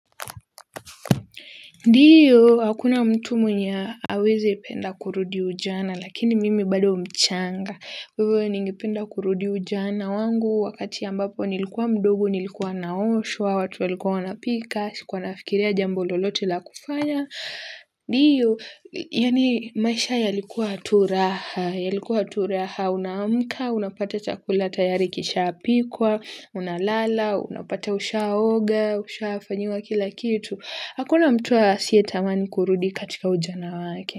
Ndio, hakuna mtu mwenye hawezi penda kurudi ujana, lakini mimi bado mchanga. Wewe ningipenda kurudi ujana wangu, wakati ambapo nilikuwa mdogo, nilikuwa naoshwa, watu walikuwa wanapika, sikuwa nafikiria jambo lolote la kufanya. Ndio, yaani maisha yalikuaturaha, yalikuaturaha, unaamka, unapata chakula tayari kishapikwa, unalala, unapata ushaa oga, ushaa fanyiwa kila kitu. Hakuna mtu asiye tamani kurudi katika ujana wake.